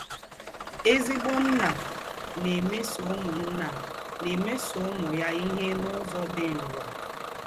Èzígbò ǹnà ná-èmésọ̀ úmù ǹnà ná-èmésọ̀ úmù ya íhe n’ụ́zọ̀ dị́ nrọ.